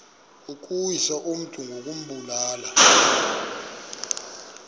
ukuwisa umntu ngokumbulala